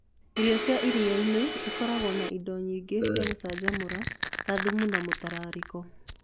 Irio cia iria-inĩ nĩ ikoragwo na indo nyingĩ cia gũcinjamũra, ta thumu na mũtararĩko.